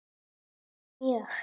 Já mjög